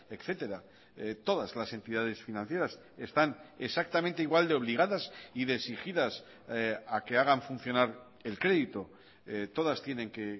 etcétera todas las entidades financieras están exactamente igual de obligadas y de exigidas a que hagan funcionar el crédito todas tienen que